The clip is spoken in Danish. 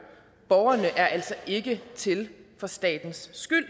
borgerne er altså ikke til for statens skyld